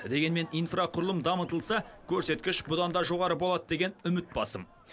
дегенмен инфрақұрылым дамытылса көрсеткіш бұдан да жоғары болады деген үміт басым